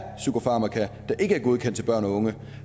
psykofarmaka der ikke er godkendt til børn og unge